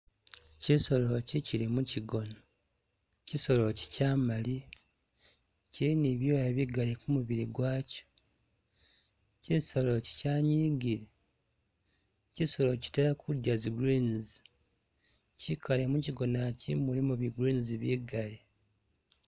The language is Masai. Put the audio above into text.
Chisolo echi chili mu'chigoni, chisolo echi chamalayi, chili nibibyoya bigaali kumubili gwaajo, chisolo echi chanyigile, chisolo echi chitala kudya zi greens, chikaale muchigona chi mulimu bi'greens bigali